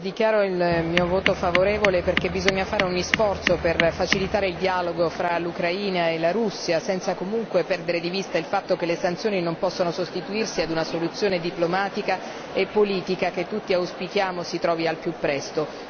dichiaro il mio voto favorevole perché bisogna fare ogni sforzo per facilitare il dialogo fra l'Ucraina e la Russia senza comunque perdere di vista il fatto che le sanzioni non possono sostituirsi ad una soluzione diplomatica e politica che tutti auspichiamo si trovi al più presto.